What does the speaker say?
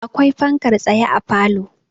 akwai fankar tsaye a falo